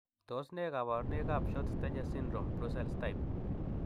Tos nee koborunoikabShort stature syndrome, Brussels type?